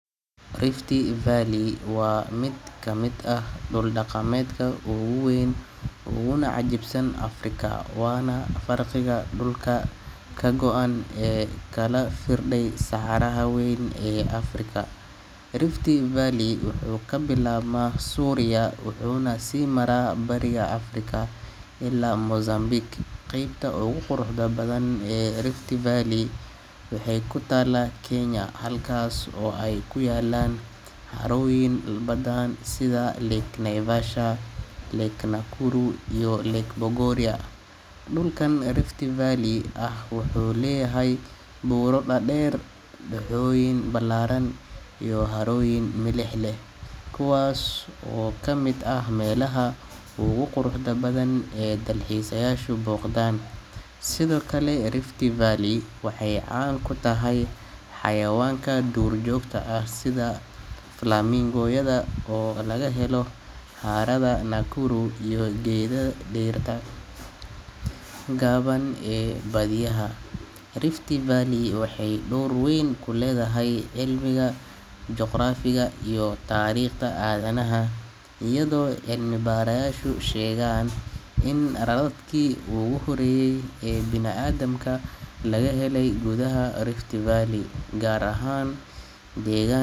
Rift Valley waa mid ka mid ah dhul-dhaqameedka ugu weyn uguna cajiibsan Afrika, waana farqiga dhulka ka go’an ee u kala firdhay saxaraha weyn ee Afrika. Rift Valley wuxuu ka bilaabmaa Suuriya wuxuuna sii maraa Bariga Afrika ilaa Mozambique. Qaybta ugu quruxda badan ee Rift Valley waxay ku taallaa Kenya, halkaas oo ay ku yaallaan harooyin badan sida Lake Naivasha, Lake Nakuru, iyo Lake Bogoria. Dhulkan Rift Valley ah wuxuu leeyahay buuro dhaadheer, dooxooyin ballaaran iyo harooyin milix leh, kuwaas oo ka mid ah meelaha ugu quruxda badan ee dalxiisayaashu booqdaan. Sidoo kale Rift Valley waxay caan ku tahay xayawaanka duurjoogta ah sida flamingo-yada oo laga helo harada Nakuru iyo geydada dhirta gaaban ee baadiyaha. Rift Valley waxay door weyn ku leedahay cilmiga juqraafiga iyo taariikhda aadanaha, iyadoo cilmi-baarayaashu sheegeen in raadadkii ugu horreeyay ee bini’aadamka laga helay gudaha Rift Valley, gaar ahaan deega.